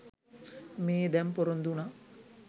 මේ දැන් පොරොන්දු වුණා.